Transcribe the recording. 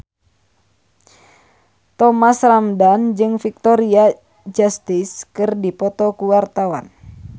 Thomas Ramdhan jeung Victoria Justice keur dipoto ku wartawan